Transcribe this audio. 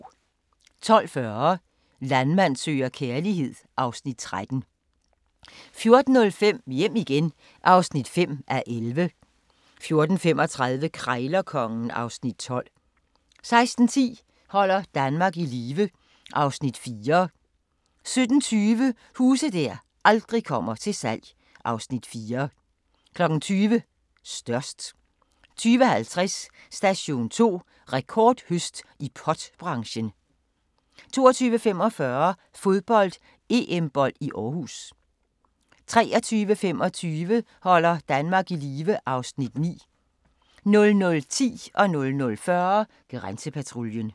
12:40: Landmand søger kærlighed (Afs. 13) 14:05: Hjem igen (5:11) 14:35: Krejlerkongen (Afs. 12) 16:10: Holder Danmark i live (Afs. 4) 17:20: Huse der aldrig kommer til salg (Afs. 4) 20:00: Størst 20:50: Station 2: Rekordhøst i pot-branchen 22:45: Fodbold: EM-bold i Aarhus 23:25: Holder Danmark i live (Afs. 9) 00:10: Grænsepatruljen